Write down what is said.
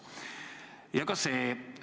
Nii ka see algatus.